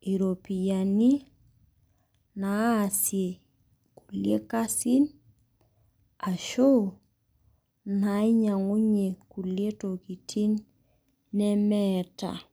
iropiyiani naasie kulie kasin ashuu nainyiangunyie kulie tokitin nemeeta